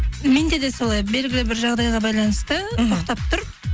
менде де солай белгілі бір жағдайға байланысты іхі тоқтап тұр